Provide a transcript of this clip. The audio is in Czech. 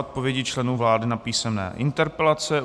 Odpovědi členů vlády na písemné interpelace